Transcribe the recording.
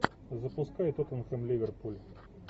запускай тоттенхэм ливерпуль